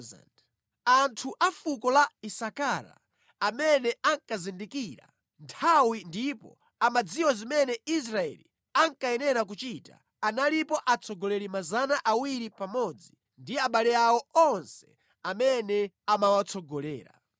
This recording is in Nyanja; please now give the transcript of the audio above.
Anthu a fuko la Isakara amene ankazindikira nthawi ndipo amadziwa zimene Israeli ankayenera kuchita, analipo atsogoleri 200 pamodzi ndi abale awo onse amene amawatsogolera.